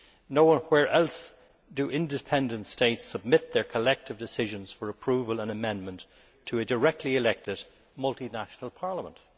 Nowhere else do independent states submit their collective decisions for approval and amendment to a directly elected multinational parliament.